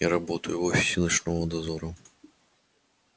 я работаю в офисе ночного дозора